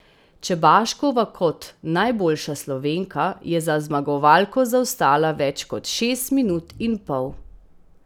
Čebaškova kot najboljša Slovenka je za zmagovalko zaostala več kot šest minut in pol.